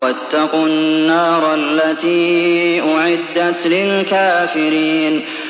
وَاتَّقُوا النَّارَ الَّتِي أُعِدَّتْ لِلْكَافِرِينَ